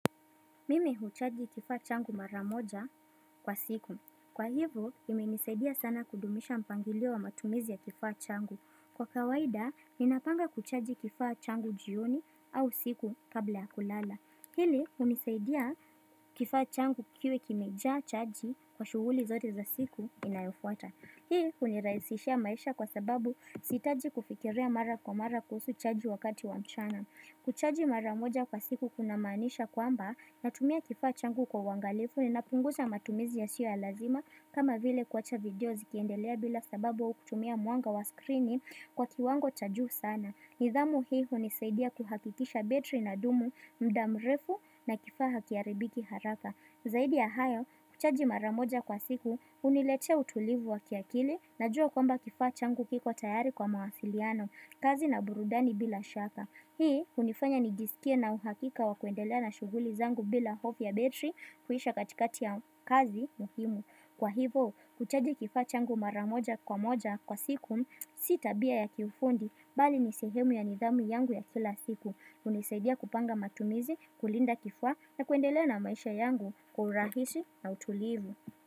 Mimi huchaji kifaa changu maramoja kwa siku. Kwa hivyo, ime nisaidia sana kudumisha mpangilio wa matumizi ya kifaa changu. Kwa kawaida, ninapanga kuchaji kifaa changu jioni au usiku kabla ya kulala. Pili, unisaidia kifaa changu kiwe kimejaa chaji kwa shughuli zote za siku inayofuata. Hii, uniraisishia maisha kwa sababu sitaji kufikiria mara kwa mara kuhusu chaji wakati wa mchana. Kuchaji maramoja kwa siku kuna manisha kwamba na tumia kifaa changu kwa uangalifu ni napunguza matumizi ya siyo ya lazima kama vile kuacha video zikiendelea bila sababu au kutumia mwanga wa screeni kwa kiwango cha juu sana. Nidhamu hii hunisaidia kuhakikisha betri ina dumu, mdamrefu na kifaa hakiaribiki haraka. Zaidi ya hayo kuchaji maramoja kwa siku uniletea utulivu wa kiakili na jua kwamba kifaa changu kiko tayari kwa mawasiliano, kazi na burudani bila shaka. Hii unifanya nijisikie na uhakika wa kuendelea na shughuli zangu bila hofu ya betri kuisha katikati ya kazi muhimu. Kwa hivyo, kuchaji kifaa changu maramoja kwa moja kwa siku sitabia ya kiufundi bali nisehemu ya nidhamu yangu ya kila siku. Unisaidia kupanga matumizi, kulinda kifaa na kuendelea na maisha yangu kwaurahisi na utulivu.